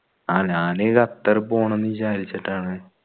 ആ ഞാൻ ഖത്തർ പോണം വിചാരിച്ചിട്ടാണ്